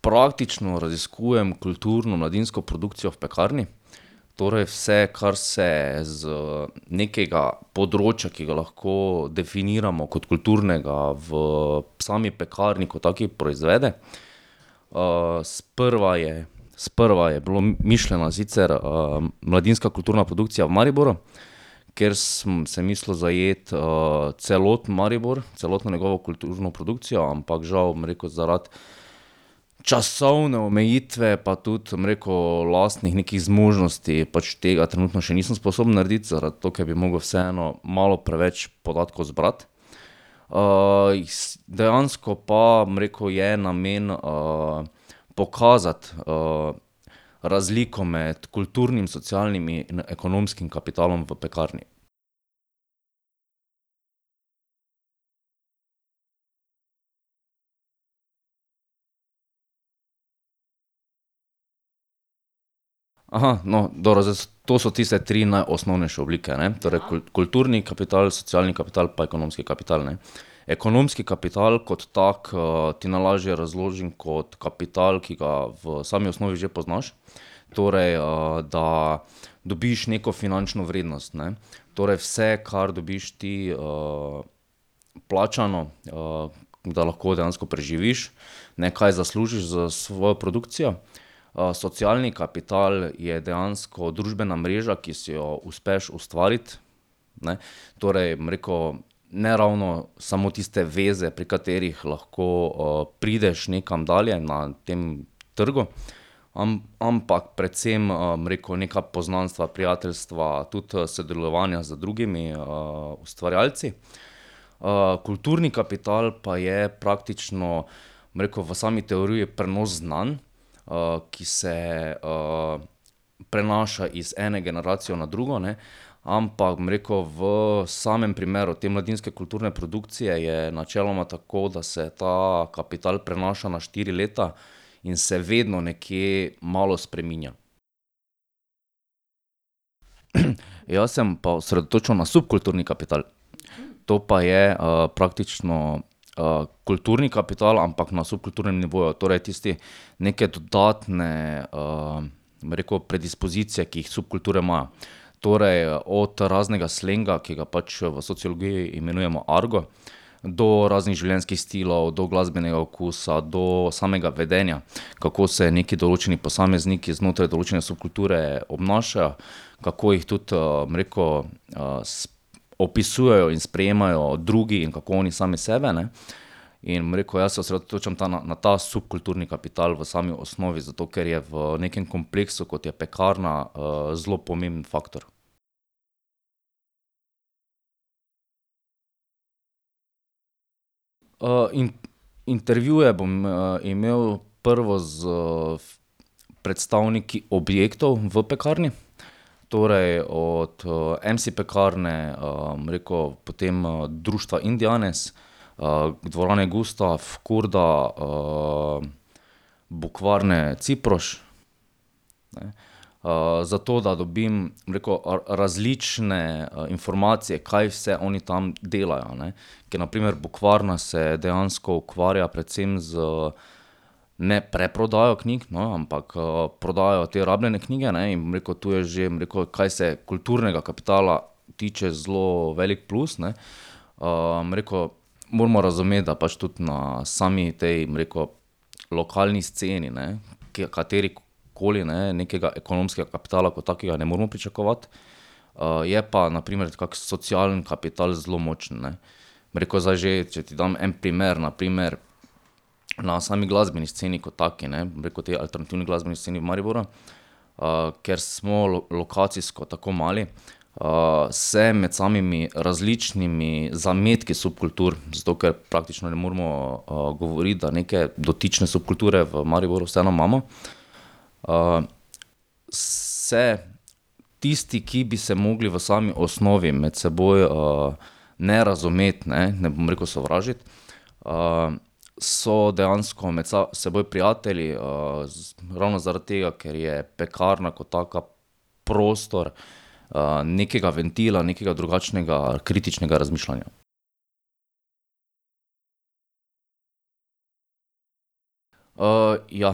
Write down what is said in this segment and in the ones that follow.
praktično raziskujem kulturno mladinsko produkcijo v Pekarni, torej vse, kar se z nekega področja, ki ga lahko definiramo kot kulturnega, v sami Pekarni kot taki proizvede. sprva je, sprva je bila mišljena sicer, mladinska kulturna produkcija v Mariboru, ker sem, sem mislil zajeti, celoten Maribor, celotno njegovo kulturno produkcijo, ampak žal, bom rekel, zaradi časovne omejitve pa tudi, bom rekel, lastnih nekih zmožnosti pač tega trenutno še nisem sposoben narediti, zato ker bi mogel vseeno malo preveč podatkov zbrati. dejansko pa, bom rekel, je namen, pokazati, razliko med kulturnim, socialnim in ekonomskim kapitalom v Pekarni. no, dobro, zdaj to so tiste tri najosnovnejše oblike, ne. Torej kulturni kapital, socialni kapital pa ekonomski kapital, ne. Ekonomski kapital kot tak, ti najlažje razložim kot kapital, ki ga v sami osnovi že poznaš, torej, da dobiš neko finančno vrednost, ne. Torej vse, kar dobiš ti, plačano, da lahko dejansko preživiš, nekaj zaslužiš s svojo produkcijo. socialni kapital je dejansko družbena mreža, ki si jo uspeš ustvariti, ne. Torej, bom rekel, ne ravno samo tiste veze, pri katerih lahko, prideš nekam dalje na tem trgu, ampak predvsem, bom rekel, neka poznanstva, prijateljstva, tudi, sodelovanja z drugimi, ustvarjalci. kulturni kapital pa je praktično, bom rekel, v sami teoriji prenos znanj, ki se, prenaša iz ene generacije na drugo, ne. Ampak, bom rekel, v samem primeru te mladinske kulturne produkcije je načeloma tako, da se ta kapital prenaša na štiri leta in se vedno nekje malo spreminja. Jaz se bom pa osredotočil na subkulturni kapital. To pa je, praktično, kulturni kapital, ampak na subkulturnem nivoju, torej tisti, neke dodatne, bom rekel, predispozicije, ki jih subkulture imajo. Torej od raznega slenga, ki ga pač v sociologiji imenujemo argo, do raznih življenjskih stilov, do glasbenega okusa, do samega vedenja. Kako se neki določeni posamezniki znotraj določene subkulture obnašajo, kako jih tudi, bom rekel, opisujejo in sprejemajo drugi in kako oni sami sebe, ne. In, bom rekel, jaz se osredotočam ta na, na ta subkulturni kapital v sami osnovi, zato ker je v nekem kompleksu, kot je Pekarna, zelo pomemben faktor. intervjuje bom, imel prvo s predstavniki objektov v Pekarni, torej od, MC Pekarne, bom rekel, potem društva Indianes, dvorane Gustaf, Kurda, Bukvarne Ciproš, ne, zato, da dobim, bom rekel, različne, informacije, kaj vse oni tam delajo, ne. Ker na primer Bukvarna se dejansko ukvarja predvsem z ne preprodajo knjig, no, ampak, prodajajo te rabljene knjige, ne, in bom rekel, to je že, bom rekel, kaj se kulturnega kapitala tiče, zelo velik plus, ne. bom rekel, moramo razumeti, da pač tudi na sami tej, bom rekel, lokalni sceni, ne, kjer katerikoli, ne, nekega ekonomskega kapitala kot takega ne moremo pričakovati, je pa na primer kak socialni kapital zelo močen, ne. Bom rekel zdaj že, če ti dam en primer, na primer, na sami glasbeni sceni kot taki, ne, bom rekel, tej alternativni glasbeni sceni v Mariboru, ker smo lokacijsko tako mali, se med samimi različnimi zametki subkultur, zato ker praktično ne moremo, govoriti, da neke dotične subkulture v Mariboru vseeno imamo, se tisti, ki bi se mogli v sami osnovi med seboj, ne razumeti, ne, ne bom rekel sovražiti, so dejansko med seboj prijatelji, ravno zaradi tega, ker je Pekarna kot taka prostor, nekega ventila, nekega drugačnega, kritičnega razmišljanja. ja,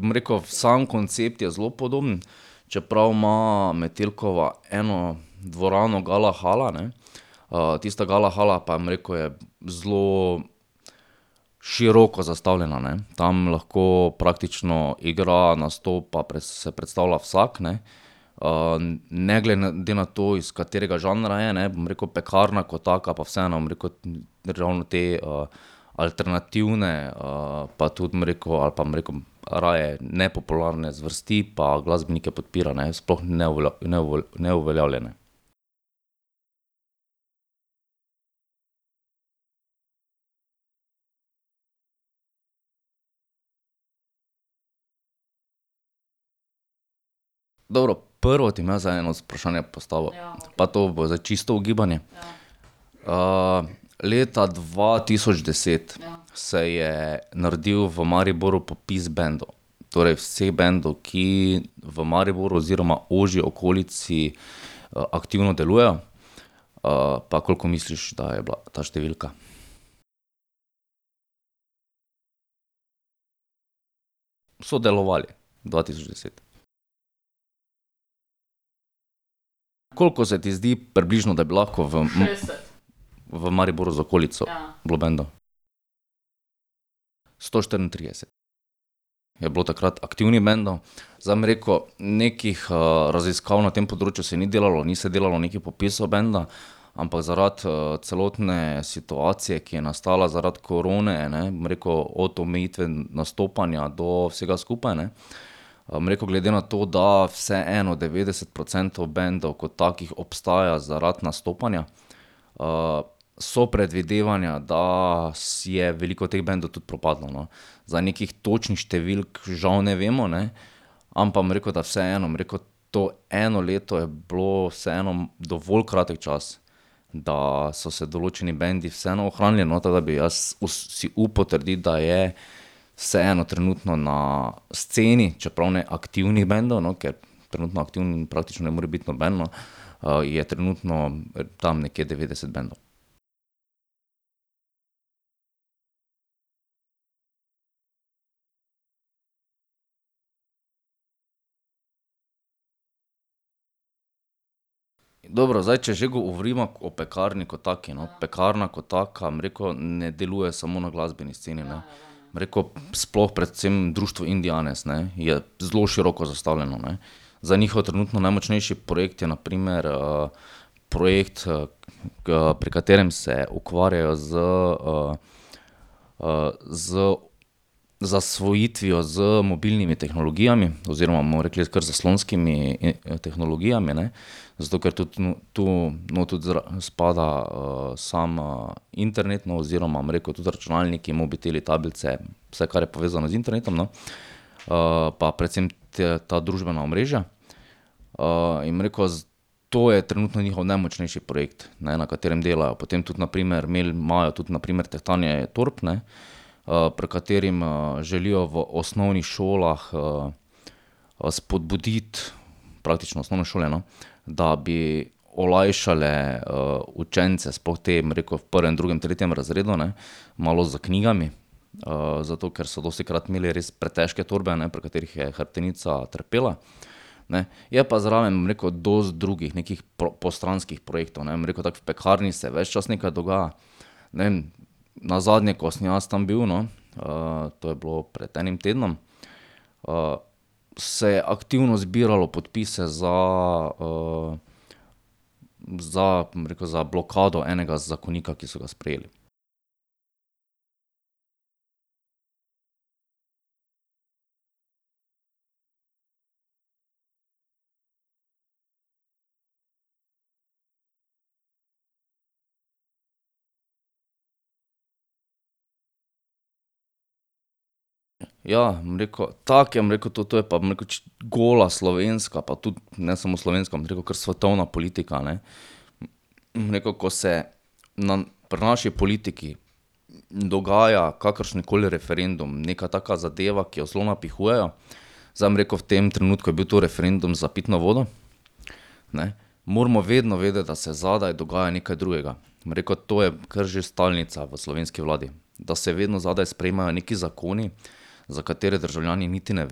bom rekel, sam koncept je zelo podoben, čeprav ima Metelkova eno dvorano Gala hala, ne. tista Gala hala pa, bom rekel, je zelo široko zastavljena, ne. Tam lahko praktično igra, nastopa, se predstavlja vsak, ne, ne glede na to, iz katerega žanra je, ne. Bom rekel, Pekarna kot taka pa vseeno, bom rekel, ravno te, alternativne, pa tudi bom rekel ali pa bom rekel raje, nepopularne zvrsti pa glasbenike podpira, ne. Sploh neuveljavljene. Dobro. Prvo ti bom jaz zdaj eno vprašanje postavil. Pa to bo zdaj čisto ugibanje. leta dva tisoč deset se je naredil v Mariboru popis bendov. Torej vseh bendov, ki v Mariboru oziroma ožji okolici, aktivno delujejo. pa koliko misliš, da je bila ta številka? So delovali dva tisoč deset. Koliko se ti zdi približno, da bi lahko v v Mariboru z okolico bilo bendov? Sto štiriintrideset je bilo takrat aktivnih bendov. Zdaj bom rekel, nekih, raziskav na tem področju se ni delalo, ni se delalo nekih popisov benda, ampak zaradi, celotne situacije, ki je nastala zaradi korone, ne, bom rekel, od omejitve nastopanja do vsega skupaj, ne, bom rekel, glede na to, da vseeno devetdeset procentov bendov kot takih obstaja zaradi nastopanja, so predvidevanja, da je veliko teh bendov tudi propadlo, no. Zdaj nekih točnih številk žal ne vemo, ne, ampak bom rekel, da vseeno, bom rekel, to eno leto je bilo vseeno dovolj kratek čas, da so se določeni bendi vseeno ohranili, no, tako da bi jaz si upal trditi, da je vseeno trenutno na sceni, čeprav ne aktivnih bendov, no, ker trenutno aktiven praktično ne more biti noben, no, je trenutno tam nekje devetdeset bendov. Dobro, zdaj če že govoriva o Pekarni kot taki, no. Pekarna kot taka, bom rekel, ne deluje samo na glasbeni sceni, ne. Bom rekel, sploh predvsem društvo Indianes, ne, je zelo široko zastavljeno, ne. Zdaj njihov trenutno najmočnejši projekt je na primer, projekt, pri katerem se ukvarjajo z, z zasvojitvijo z mobilnimi tehnologijami oziroma, bomo rekli, kar zaslonskimi tehnologijami, ne. Zato ker tudi tu not tudi zraven spada, samo internet, no, bom rekel, tudi računalniki, mobiteli, tablice, vse, kar je povezano z internetom, no. pa predvsem ta družbena omrežja. in bom rekel, to je trenutno njihov najmočnejši projekt, ne, na katerem delajo. Potem tudi na primer imajo tudi na primer tehtanje torb, ne, pri katerem, želijo v osnovnih šolah, spodbuditi, praktično osnovne šole, no, da bi olajšale, učence, sploh te, bom rekel, v prvem, drugem, tretjem razredu, ne, malo s knjigami. zato ker so dostikrat imeli res pretežke torbe, ne, pri katerih je hrbtenica trpela, ne. Je pa zraven, bom rekel, dosti drugih nekih postranskih projektov, ne. Bom rekel tako, v Pekarni se ves čas nekaj dogaja. Ne vem, nazadnje, ko sem jaz tam bil, no, to je bilo pred enim tednom, se je aktivno zbiralo podpise za, za, bom rekel, za blokado enega zakonika, ki so ga sprejeli. Ja, bom rekel, tako je, bom rekel, to, to je pa, bom rekel gola slovenska, pa tudi ne samo slovenska, bom rekel, kar svetovna politika, ne. Bom rekel, ko se pri naši politiki dogaja kakršenkoli referendum, neka taka zadeva, ki jo zelo napihujejo, zdaj bom rekel, v tem trenutku je bil to referendum za pitno vodo, ne, moramo vedno vedeti, da se zadaj dogaja nekaj drugega. Bom rekel, to je kar že stalnica v slovenski vladi. Da se vedno zadaj sprejemajo neki zakoni, za katere državljani niti ne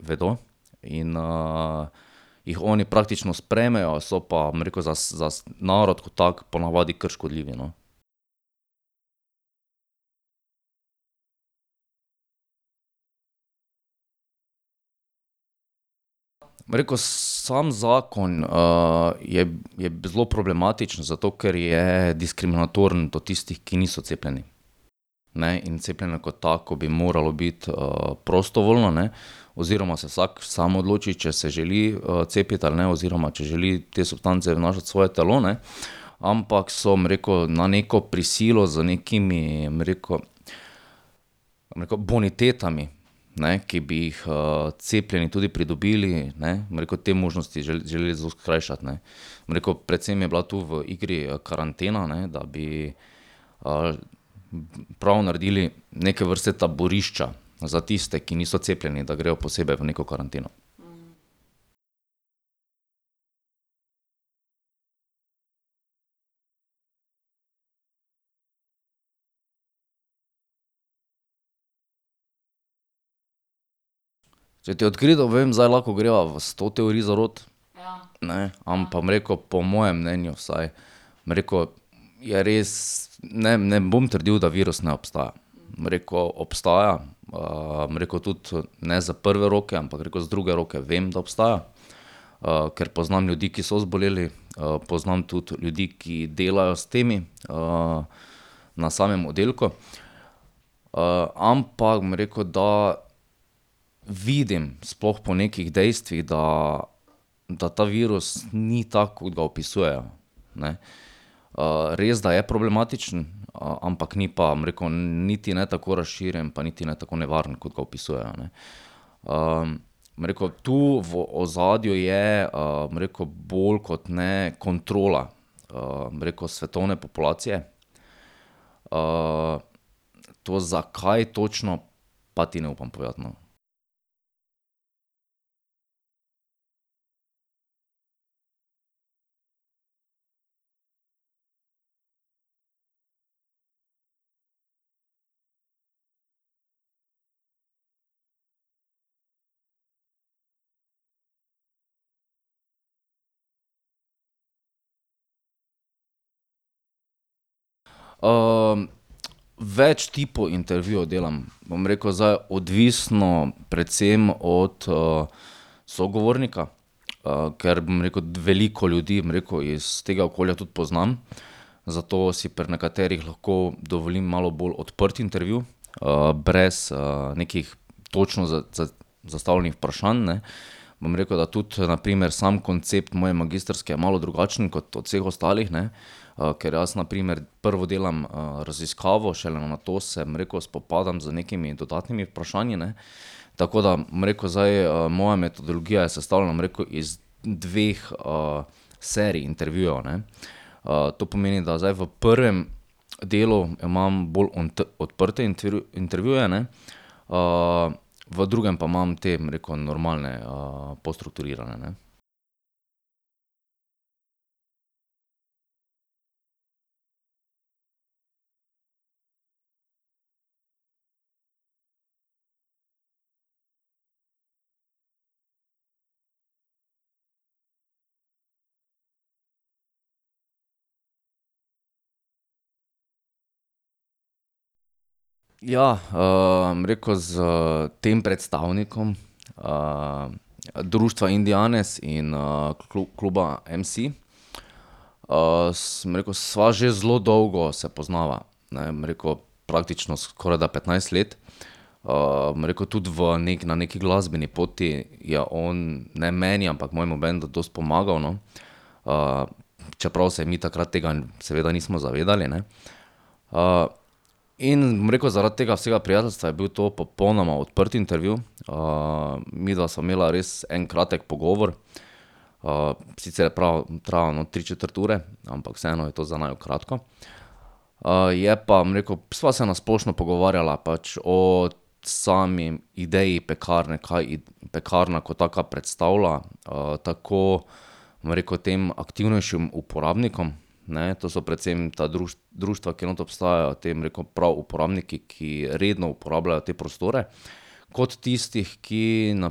vedo, in, jih oni praktično sprejmejo, so pa, bom rekel za za narod kot tako ponavadi kar škodljivi, no. Bom rekel, sam zakon, je, je zelo problematičen, zato ker je diskriminatoren do tistih, ki niso cepljeni, ne, in cepljenje kot tako bi moralo biti, prostovoljno, ne, oziroma se vsak sam odloči, če se želi, cepiti ali ne, oziroma če želi te substance vnašati v svoje telo, ne. Ampak so, bom rekel, na neko prisilo z nekimi, bom rekel, bom rekel bonitetami, ne, ki bi jih, cepljeni tudi pridobili, ne, bom rekel, te možnosti želeli zelo skrajšati, ne. Bom rekel, predvsem je bila tu v igri karantena, ne, da bi ali prav naredili neke vrste taborišča za tiste, ki niso cepljeni, da grejo posebej v neko karanteno. Če ti odkrito povem, zdaj lahko greva v sto teorij zarot, ne, ampak bom rekel, po mojem mnenju vsaj, bom rekel, je res, ne, ne bom trdili, da virus ne obstaja. Bom rekel, obstaja, bom rekel tudi, ne iz prve roke, ampak bom rekel, iz druge roke vem, da obstaja, ker poznam ljudi, ki so zboleli, poznam tudi ljudi, ki delajo s temi, na samem oddelku. ampak bom rekel, da vidim, sploh po nekih dejstvih, da, da ta virus ni tak, kot ga opisujejo, ne. res, da je problematičen, ampak ni pa, bom rekel, niti ne tako razširjen pa niti ne tako nevaren, kot ga opisujejo, ne. bom rekel, tu v ozadju je, bom rekel, bolj kot ne kontrola, bom rekel, svetovne populacije, to, zakaj točno, pa ti ne upam povedati, no. več tipov intervjujev delam. Bom rekel, zdaj odvisno predvsem od, sogovornika, ker, bom rekel, veliko ljudi, bom rekel, iz tega okolja tudi poznam, zato si pri nekaterih lahko dovolim malo bolj odprt intervju, brez, nekih točno zastavljenih vprašanj, ne. Bom rekel, da tudi na primer sam koncept moje magistrske je malo drugačen kot od vseh ostalih, ne, ker jaz na primer prvo delam, raziskavo, šele nato se, bom rekel, spopadam z nekimi dodatnimi vprašanji, ne. Tako da, bom rekel zdaj, moja metodologija je sestavljena, bom rekel, iz dveh, serij intervjujev, ne. to pomeni, da zdaj v prvem delu imam bolj odprte intervjuje, ne, v drugem pa imam te, bom rekel, normalne, bolj strukturirane, ne. Ja, bom rekel, s tem predstavnikom, društva Indianes in, kluba MC, bom rekel, sva že zelo dolgo se poznava, ne, bom rekel, praktično skorajda petnajst let. bom rekel tudi v na neki glasbeni poti je on, ne meni, ampak mojemu bendu dosti pomagal, no, čeprav se mi takrat tega seveda nismo zavedali, ne. in bom rekel, zaradi tega vsega prijateljstva je bil to popolnoma odprt intervju, midva sva imela res en kratek pogovor. sicer prav je trajalo, no, tri četrt ure, ampak vseeno je to za naju kratko. je pa, bom rekel, sva se na splošno pogovarjala pač o sami ideji Pekarne, kaj Pekarna kot taka predstavlja, tako, bom rekel, tem aktivnejšim uporabnikom, ne, to so predvsem ta društva, ki not obstajajo, te, bom rekel, prav uporabniki, ki redno uporabljajo te prostore, kot tistih, ki na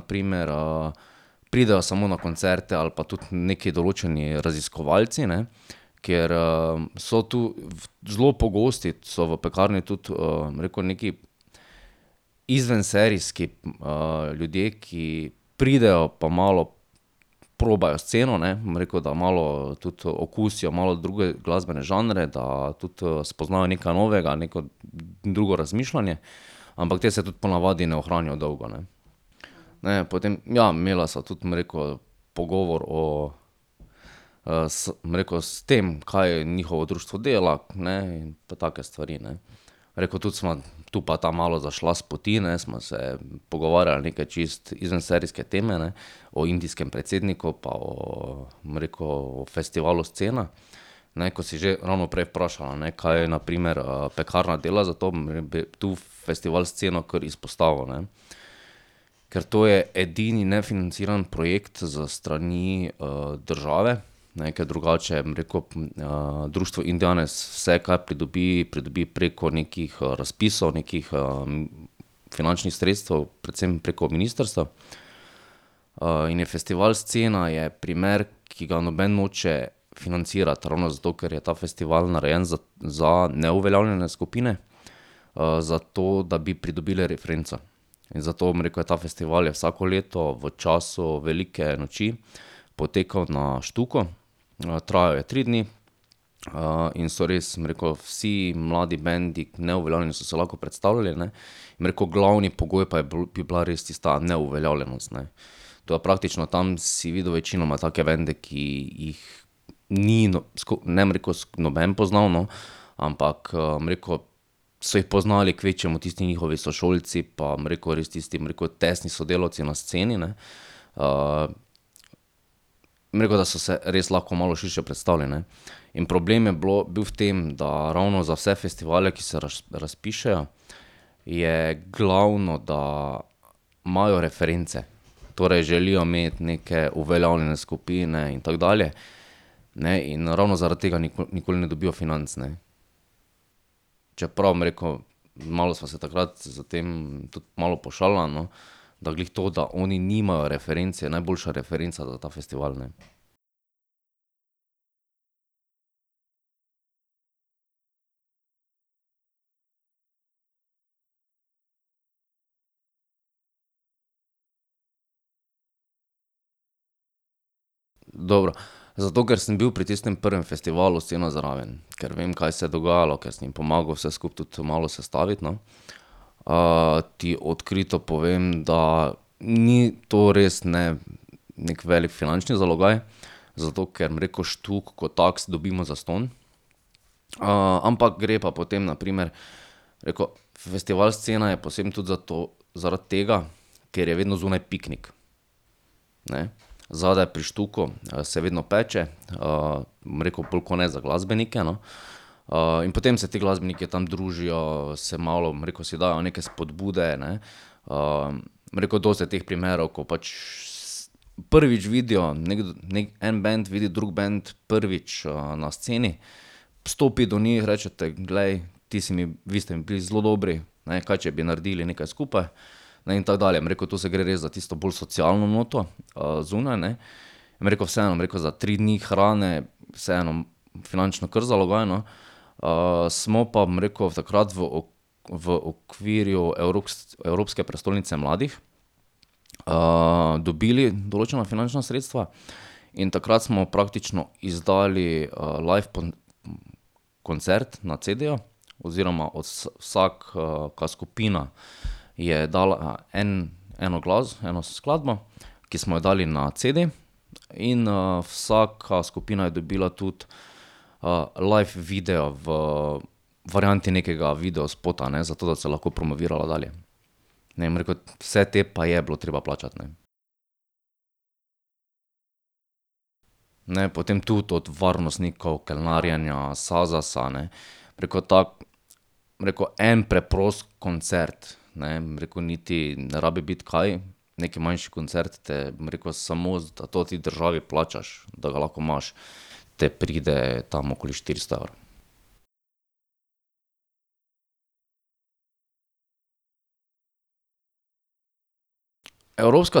primer, pridejo samo na koncerte ali pa tudi neki določeni raziskovalci, ne. Ker, so to, zelo pogosti so v Pekarni tudi bom rekel, neki izvenserijski, ljudje, ki pridejo pa malo probajo sceno, ne, bom rekel, da malo tudi okusijo malo druge glasbene žanre, da tudi, spoznajo nekaj novega, neko drugo razmišljanje. Ampak ti se tudi po navadi ne ohranijo dolgo, ne. Ne vem, potem, ja, imela sva tudi, bom rekel, pogovor o, bom rekel, tem, kaj njihovo društvo dela in pa take stvari, ne. Bom rekel, tudi sva tu pa tam malo zašla s poti, ne, sva se pogovarjala neke čisto izvenserijske teme, ne. O indijskem predsedniku pa o, bom rekel, festivalu Scena, ne, ko si že ravno prej vprašala, ne, kaj na primer, Pekarna dela, zato bom, ne vem, tu festival Scena kar izpostavil, ne. Ker to je edini nefinanciran projekt s strani, države, ne, ke drugače, bom rekel, društvo Indianes vse, kar pridobi, pridobi preko nekih razpisov, nekih, finančnih sredstev, predvsem preko ministrstev. in je festival Scena je primer, ki ga noben noče financirati. Ravno zato, ker je ta festival narejen za neuveljavljene skupine, zato, da bi pridobile referenco. In zato, bom rekel, ta festival je vsako leto v času velike noči potekal na Štuku, trajal je tri dni, in so res, bom rekel, vsi mladi bendi, neuveljavljeni, so se lahko predstavili, ne. Bom rekel, glavni pogoj pa je bila res tista neuveljavljenost, ne. Tako da praktično tam si videl večinoma take bende, ki jih ni ne bom rekel noben poznal, no, ampak, bom rekel, so jih poznali kvečjemu tisti njihovi sošolci pa, bom rekel, res tisti, bom rekel, tesni sodelavci na sceni, ne. bom rekel, da so se res lahko malo širše predstavili, ne. In problem je bilo, bil v tem, da ravno za vse festivale, ki se razpišejo, je glavno, da imajo reference. Torej želijo imeti neke uveljavljene skupine in tako dalje, ne, in ravno zaradi tega nikoli ne dobijo financ, ne. Čeprav, bom rekel, malo sva se takrat s tem tudi malo pošalila, no, da glih to, da oni nimajo referenc, je najboljša referenca za ta festival, ne. Dobro, zato ker sem bil pri tistem prvem festivalu Scena zraven. Ker vem, kaj se je dogajalo, ker sem jim pomagal vse skupaj tudi malo sestaviti, no, ti odkrito povem, da ni to res ne neki velik zalogaj finančni, zato ker, bom rekel, Štuk kot tak dobimo zastonj. ampak gre pa potem na primer, rekel, festival Scena je poseben tudi zato, zaradi tega, ker je vedno zunaj piknik, ne. Zadaj pri Štuku, se vedno peče, bom rekel, bolj kot ne za glasbenike, no. in potem se te glasbeniki tam družijo, se malo, bom rekel, si dajo neke spodbude, ne, bom rekel, dosti je teh primerov, ko pač prvič vidijo en bend vidi drug bend prvič, na Sceni, stopi do njih, rečete: "Glej, ti si mi, vi ste mi bili zelo dobri, ne. Kaj če bi naredili nekaj skupaj?" Ne, in tako dalje. Bom rekel, to se gre res za tisto bolj socialno noto, zunaj, ne, bom rekel, vseeno, bom rekel, za tri dni hrane vseeno finančno kar zalogaj, no. smo pa, bom rekel, takrat v v okvirju Evropske prestolnice mladih, dobili določena finančna sredstva in takrat smo praktično izdali, live koncert na cedeju oziroma vsaka skupina je dala en eno eno skladbo, ki smo jo dali na cede, in, vsaka skupina je dobila tudi, live video v varianti nekega videospota, ne, zato, da se je lahko promovirala dalje. Ne, bom rekel, vse te pa je bilo treba plačati, ne. Ne vem, potem tudi od varnostnikov, kelnarjenja, Sazasa, ne, bom rekel, ta, bom rekel, en preprost koncert, ne, bom rekel, niti ne rabi biti kaj, neki manjši koncert te, bom rekel, samo da to ti državi plačaš, da ga lahko imaš, te pride tam okoli štiristo evrov. Evropska